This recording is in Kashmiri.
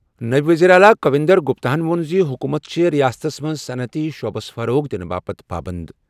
نٲیِب ؤزیٖرِ اعلیٰ کویندر گُپتا ہن ووٚن زِ حُکوٗمت چھےٚ رِیاستس منٛز صنعتی شعبس فروغ دِنہٕ تہٕ بَڑاونہٕ خٲطرٕ پابنٛد۔